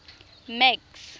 max